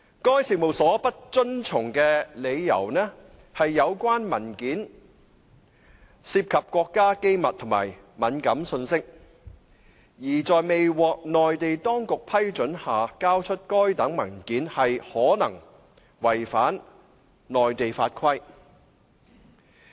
該事務所不遵從的理由是有關文件涉及國家機密及敏感信息，而在未獲內地當局批准下交出該等文件可能違反內地法規。